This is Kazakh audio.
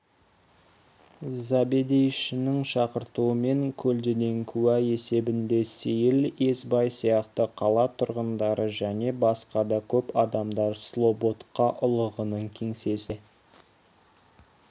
забедейшінің шақыртуымен көлденең куә есебінде сейіл есбай сияқты қала тұрғындары және басқа да көп адамдар слободка ұлығының кеңсесінде